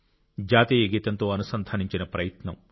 జాతీయ గీతంతో అనుసంధానించిన ప్రయత్నం